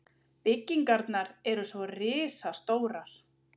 Byggingarnar eru svo risastórar.